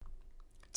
TV 2